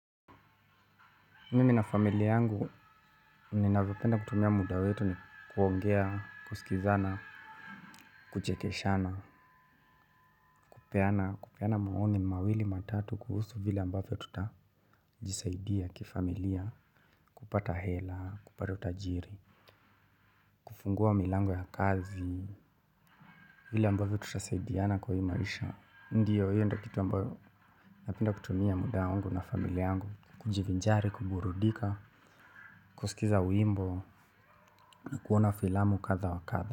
Mimi na familia yangu ninavyopenda kutumia muda wetu ni kuongea, kusikizana, kuchekeshana, kupeana maoni mawili matatu kuhusu vile ambavyo tutajisaidia kifamilia, kupata hela, kupata utajiri, kufungua milango ya kazi vile ambavyo tutasaidiana kwa hii maisha. Ndiyo hiyo ndo kitu ambayo napenda kutumia muda wangu na familia yangu, kujivinjari, kuburudika, kusikiza wimbo na kuona filamu kadha wa kadha.